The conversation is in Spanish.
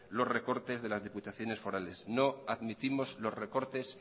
los recortes de las diputaciones forales no admitimos los recortes